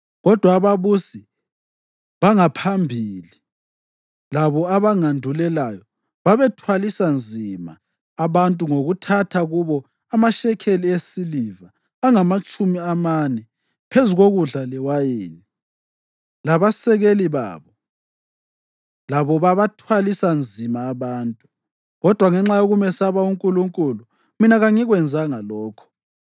Kodwa ababusi bangaphambili, labo abangandulelayo, babethwalisa nzima abantu ngokuthatha kubo amashekeli esiliva angamatshumi amane phezu kokudla lewayini. Labasekeli babo labo bathwalisa nzima abantu. Kodwa ngenxa yokumesaba uNkulunkulu mina kangikwenzanga lokho.